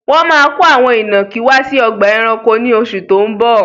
Wọn máa ko àwọn ìnàkí wá sí ọgbà ẹranko ni oṣù tó ń bọ̀.